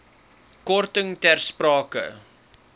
korting ter sprake